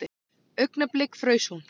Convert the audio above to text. Augnablik fraus hún.